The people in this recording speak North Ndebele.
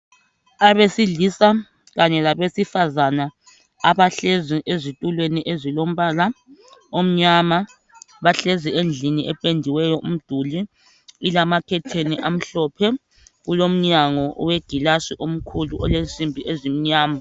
Abesilisa kanye labesifazane abahlezi ezitulweni ezilombala omnyama bahlezi endlini ependiweyo umduli ilamakhetheni amhlophe ilomnyango owegilasi omkhulu olensimbi ezimnyama.